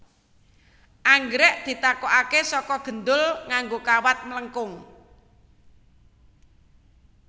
Anggrèk ditokaké saka gendul nganggo kawat mlengkung